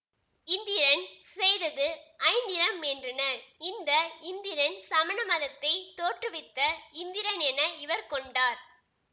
இந்திரன் செய்தது ஐந்திரம் என்றனர் இந்த இந்திரன் சமணமதத்தைத் தோற்றுவித்த இந்திரன் என இவர் கொண்டார்